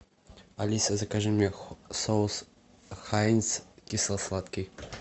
алиса закажи мне соус хайнц кисло сладкий